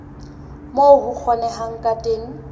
moo ho kgonehang ka teng